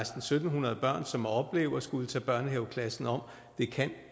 syv hundrede børn som oplever at skulle tage børnehaveklassen om det kan